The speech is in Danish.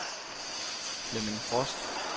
Flemming Frost